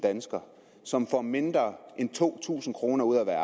danskere som får mindre end to tusind kroner ud af at